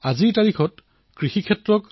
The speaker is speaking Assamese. এতিয়া তেওঁ নিজৰ পিতৃৰ সকলো ঋণ পৰিশোধ কৰিছে